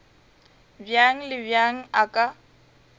bjang le bjang a ka